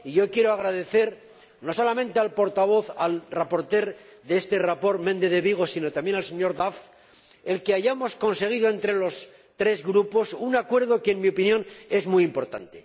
Quiero agradecer no solamente al ponente del informe el señor Méndez de Vigo, sino también al señor Duff, que hayamos conseguido entre los tres grupos un acuerdo que, en mi opinión, es muy importante.